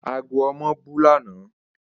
Ago omo bu lana.